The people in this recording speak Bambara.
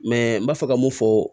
n b'a fɛ ka mun fɔ